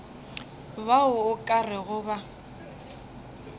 bao o ka rego ba